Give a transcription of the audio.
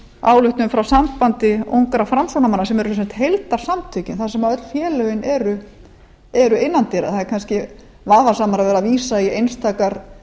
ályktun frá sambandi ungra framsóknarmanna sem eru sem sagt heildarsamtökin þar sem öll félögin eru innan dyra það er kannski vafasamara að vera að vísa í einstakar